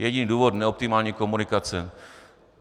Jediný důvod - neoptimální komunikace.